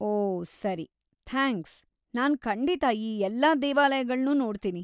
ಓ ಸರಿ, ಥ್ಯಾಂಕ್ಸ್‌, ನಾನ್‌ ಖಂಡಿತ ಈ ಎಲ್ಲಾ ದೇವಾಲಯಗಳ್ನೂ ನೋಡ್ತೀನಿ.